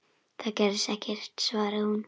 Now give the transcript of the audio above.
Það gerðist ekkert, svaraði hún.